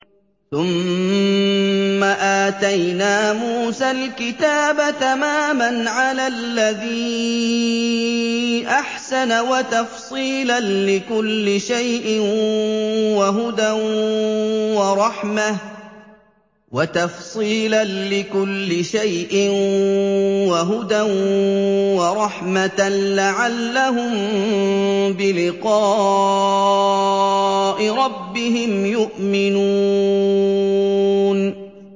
ثُمَّ آتَيْنَا مُوسَى الْكِتَابَ تَمَامًا عَلَى الَّذِي أَحْسَنَ وَتَفْصِيلًا لِّكُلِّ شَيْءٍ وَهُدًى وَرَحْمَةً لَّعَلَّهُم بِلِقَاءِ رَبِّهِمْ يُؤْمِنُونَ